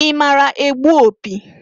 I maara egbu opi?